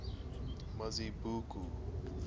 mazibuko